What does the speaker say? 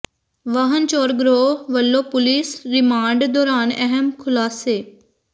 ਵਾਹਨ ਚੋਰ ਗਰੋਹ ਵੱਲੋਂ ਪੁਲੀਸ ਰਿਮਾਂਡ ਦੌਰਾਨ ਅਹਿਮ ਖੁਲਾਸੇ